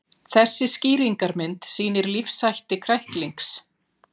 Þessi skýringarmynd sýnir lífshætti kræklings.